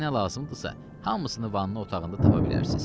Sizə nə lazımdırsa, hamısını vannı otağında tapa bilərsiz.